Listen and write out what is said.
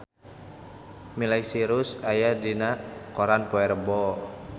Miley Cyrus aya dina koran poe Rebo